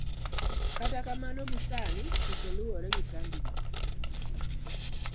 Kata kamano, gie sani, Chike, lawre gi kambino.